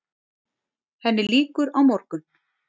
Henni lýkur á morgun.